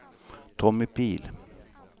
Tommy Pihl